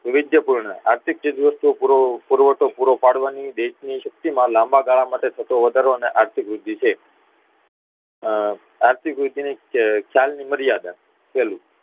વૈવિધ્ય પૂર્ણ આર્થિક ચીજવસ્તુઓ નો પુરવઠો પૂરો પાડવાની દેશની શક્તિ માં લામ્બાગાળા માટે થતો વધારો એ આર્થિક વૃદ્ધિ છે આર્થિક વૃદ્ધિ ની ખ્યાલની મર્યાદા પહેલું